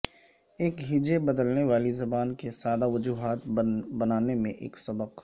ایک ہجے بدلنے والی زبان کے سادہ وجوہات بنانے میں ایک سبق